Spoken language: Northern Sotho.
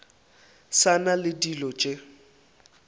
sa na le dilo tše